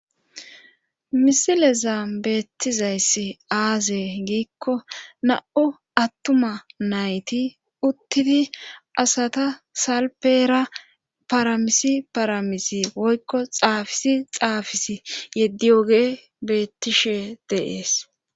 misilezaan beettizayss aaze giikko na7o attuma nayti uttidi asata salpeera paramisi paramisi woykko xaafisi xaafisi yeddi oge beettishe dees.